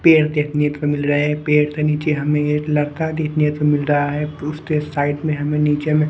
पेड़ देखने तो मिल रहा है पेड़ ते नीचे हमें एत लड़का देखने तो मिल रहा है उसते साइड में हमें नीचे में --